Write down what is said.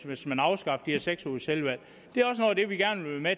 hvis man afskaffer de her seks ugers selvvalg